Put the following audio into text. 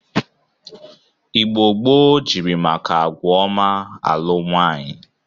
Igbo gboo jiri maka agwa ọma alụ nwaanyị.